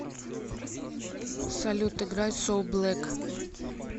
салют играй соу блэк